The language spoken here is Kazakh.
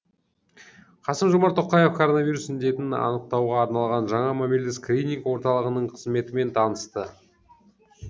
қасым жомарт тоқаев коронавирус індетін анықтауға арналған жаңа мобильді скрининг орталығының қызметімен танысты